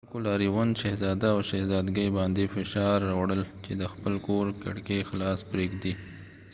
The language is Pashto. د خلکو لاریون شهزاده او شهزادګۍ باندې فشار راوړل چې د خپل کور کړکۍ خلاصې پرېږدي